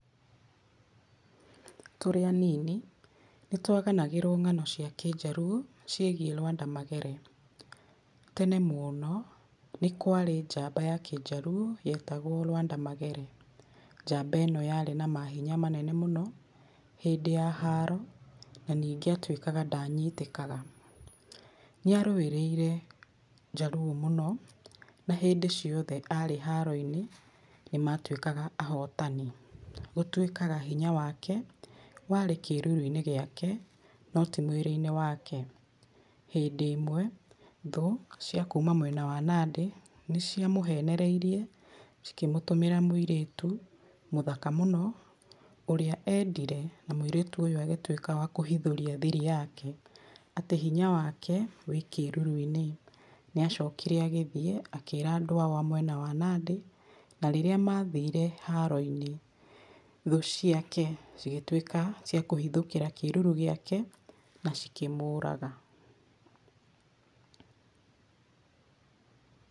Tũrĩ anini nĩ twaganagĩrwo ng'ano cia kĩnjarũo cĩĩgie Lwanda Magere. Tene mũno nĩ kwarĩ njamba ya kĩnjarũo yetagwo Lwanda Magere. Njamba ĩno yarĩ na mahĩnya manene mũno hĩndĩ ya haro na nĩnge atwĩkaga ndanyitĩkaga. Nĩ arũirĩire njarũo mũno, na hĩndĩ cĩothe arĩ haro-inĩ nĩ matwĩkaga ahotani. Gũtwĩkaga hinya wake warĩ kĩrũrũinĩ gĩake no ti mwĩrĩ-inĩ wake. Hĩndĩ ĩmwe thũ cia kũma mwena wa Nandĩ nĩ cĩamũhenereirie cikĩmũtũmĩra mũirĩtu mũthaka mũno ũrĩa endire na mũĩrĩtu ũyũ agĩtwĩka wa kũhithũria thiri yake atĩ hinya wake wĩ kĩrũrũ-inĩ. Nĩ acokire agĩthĩĩ akĩra andũ ao a mwena wa Nandĩ na rĩrĩa mathire haro-inĩ thũũ ciake cigĩtwika cia kũhĩthũkĩra kĩrũrũ gĩake na cĩkĩmũraga.